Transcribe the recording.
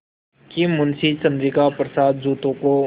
कि मुंशी चंद्रिका प्रसाद जूतों को